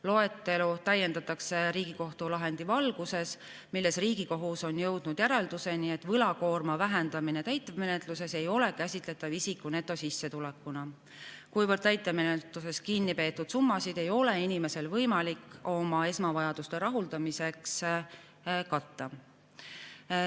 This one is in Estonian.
Loetelu täiendatakse Riigikohtu lahendi valguses, milles Riigikohus on jõudnud järeldusele, et võlakoorma vähendamine täitemenetluses ei ole käsitletav isiku netosissetulekuna, kuivõrd täitemenetluses kinnipeetud summasid ei ole inimesel võimalik oma esmavajaduste rahuldamiseks katta.